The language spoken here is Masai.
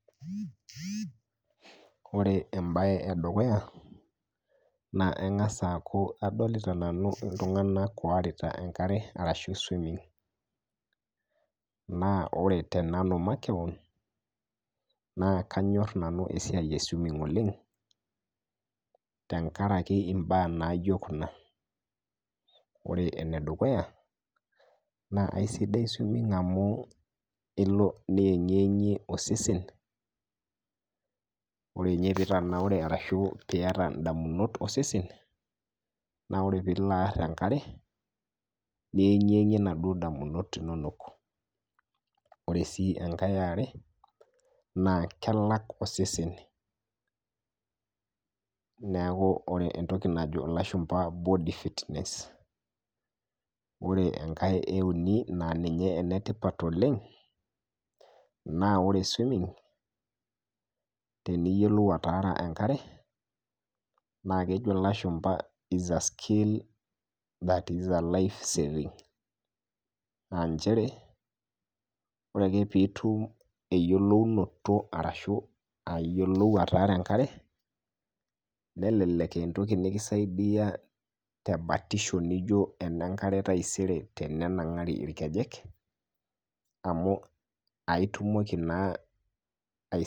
Ore embaye edukuya naa ingas aaku adolita nanu ltunganak oorita enkarre arashu swimmig naa ore te nanu makeon naa kanyorr nanu esiai eswimming oleng tengaraki imbaa naijo kuna, kore enedukuya naa esidai swimming amu ilo nieng'ieng'ie osesen, ore ninye nitanaure arashu pieta indamunot osesen naa ore piilo aar enkare, nieng'ieng'ie ndauo damunot inonok, ore sii eneare kaa kelak osesen, neaku ore entoki najo lashumba body fitness ore enkae euni naa ninye enetipat oleng, naa ore swimming tiniyiolou ataara enkare naa kejo ilashumba is a skill that is a life saving naa inchere ore ake piitum eyilonouto arashu ayiolou ataara enkare nelelek aa entoki nikisaidia te batisho ninjo enenkare taisere tenenang'ari irkejek amu itumoki naa.